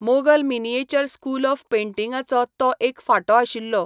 Mughal miniature school of पेंटिंगाचो तो एक फांटो आशिल्लो.